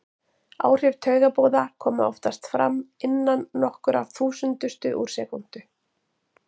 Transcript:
Áhrif taugaboða koma oftast fram innan nokkurra þúsundustu úr sekúndu.